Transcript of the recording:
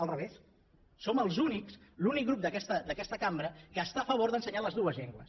al revés som els únics l’únic grup d’aquesta cambra que està a favor d’ensenyar les dues llengües